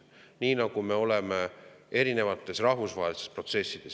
Nii nagu me oleme erinevates rahvusvahelistes protsessides …